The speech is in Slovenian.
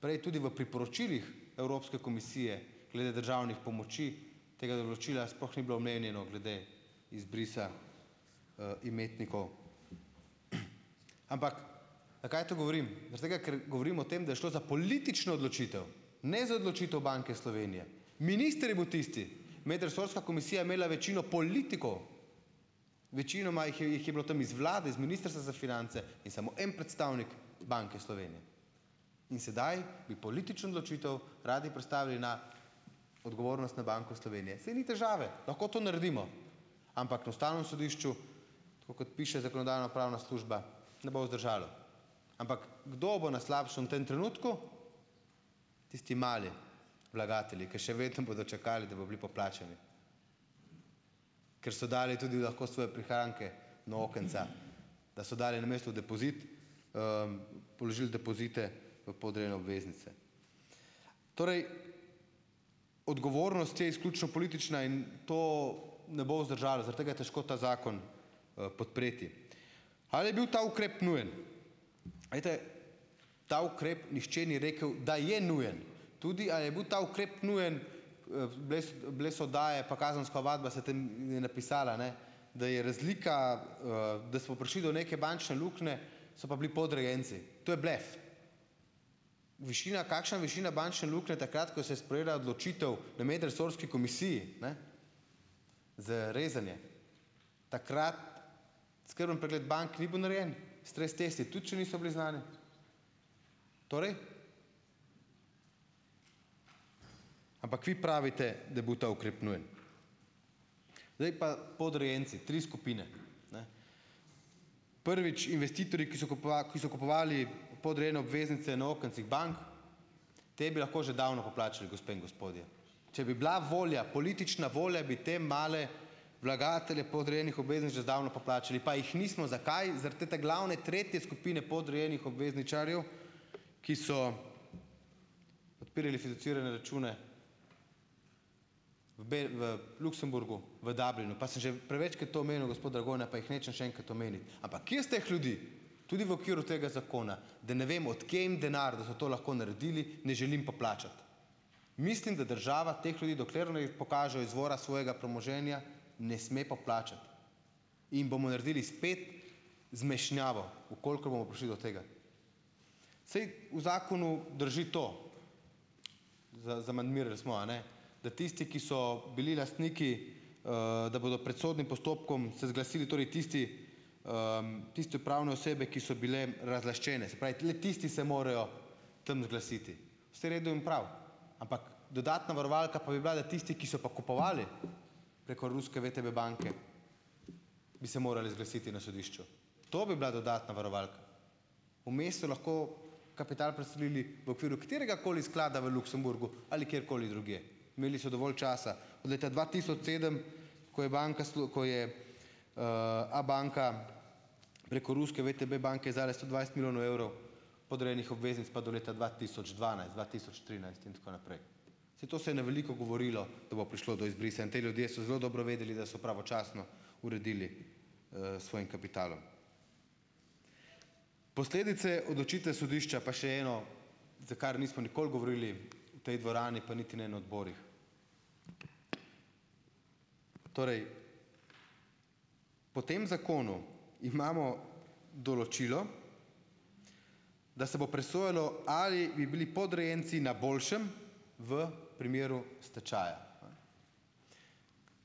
Prej tudi v priporočilih Evropske komisije glede državnih pomoči tega naročila sploh ni bilo omenjeno glede izbrisa imetnikov. Ampak, zakaj to govorim? Zaradi tega, ker govorim o tem, da je šlo za politično odločitev. Ne za odločitev Banke Slovenije. Minister je bil tisti, Medresorska komisija je imela večino politikov. Večinoma jih je, jih je bilo tam iz vlade, iz Ministrstva za finance in samo en predstavnik Banke Slovenije. In sedaj bi politično odločitev radi prestavili na odgovornost na Banko Slovenije. Saj ni težave, lahko to naredimo. Ampak na Ustavnem sodišču, tako kot piše Zakonodajno-pravna služba, ne bo vzdržalo. Ampak, kdo bo na slabšem tem trenutku? Tisti mali vlagatelji, ker še vedno bodo čakali, da bo bili poplačani. Ker so dali tudi lahko svoje prihranke na okenca. Da so dali namesto depozit, položil depozite v podrejene obveznice. Torej, odgovornost je izključno politična in to ne bo vzdržalo. Zaradi tega je težko ta zakon podpreti. Ali je bil ta ukrep nujen? Glejte, ta ukrep nihče ni rekel, da je nujen. Tudi a je bil ta ukrep nujen, bile so oddaje, pa kazenska ovadba se tam napisala ne. Da je razlika da smo prišli do neke bančne luknje, so pa bili podrejenci. To je blef. Višina, kakšna višina bančne luknje takrat, ko se sprejela odločitev v medresorski komisiji, ne. Z rezanje. Takrat skrben pregled bank ni bil narejen, stres testi tudi še niso bili znani. Torej? Ampak vi pravite, da bo ta ukrep nujen. Zdaj pa podrejenci, tri skupine. Prvič, investitorji, ki so ki so kupovali podrejene obveznice na okencih bank. Te bi lahko že davno poplačali, gospe in gospodje. Če bi bila volja, politična volja, bi te male vlagatelje podrejenih obveznic že zdavno poplačali. Pa jih nismo. Zakaj? Zaradi te glavne, tretje skupine podrejenih obvezničarjev, ki so odpirali fiduciarne račune, obe v Luksemburgu, v Dublinu. Pa sem že prevečkrat to omenil, gospod Dragonja, pa jih nočem še enkrat omeniti. Ampak jaz teh ljudi, tudi v okviru tega zakona, da ne vemo, od kje jim denar, da so to lahko naredili, ne želim poplačati. Mislim, da država teh ljudi, dokler ne pokažejo izvora svojega premoženja, ne sme poplačati. In bomo naredili spet zmešnjavo, v kolikor bomo prišli do tega. Saj v zakonu drži to, zamandmirali smo, a ne, da tisti, ki so bili lastniki da bodo pred sodnim postopkom se zglasili, torej tisti tiste pravne osebe, ki so bile razlaščene. Se pravi tisti se morajo tam zglasiti. Vse redu in prav. Ampak, dodatna varovalka pa bi bila, da tisti, ki so pa kupovali preko ruske VTB banke, bi se morali zglasiti na sodišču. To bi bila dodatna varovalka. Vmes so lahko kapital preselili v okviru kateregakoli sklada v Luksemburgu ali kjerkoli drugje. Imeli so dovolj časa. Leta dva tisoč sedem, ko je Banka ko je Abanka preko ruske VTB banke izdala sto dvajset milijonov evrov podrejenih obveznic pa do leta dva tisoč dvanajst dva-tisoč trinajst in tako naprej. Saj to se je na veliko govorilo, da bo prišlo do izbrisa in ti ljudje so zelo dobro vedeli, da so pravočasno uredili svojim kapitalom. Posledice odločitve sodišča pa še eno, za kar nismo nikoli govorili v tej dvorani pa niti ne na odborih. Torej, po tem zakonu imamo določilo, da se bo presojalo, ali bi bili podrejenci na boljšem v primeru stečaja.